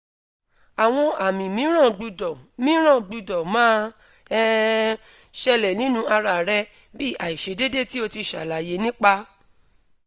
awon ami miiran gbudo miiran gbudo ma um sele ninu ara re bi aisedede ti o ti salaye nipa